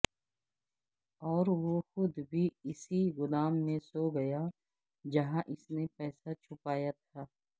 اور وہ خود بھی اسی گودام میں سو گیا جہاں اس نے پیسہ چھپایا تھا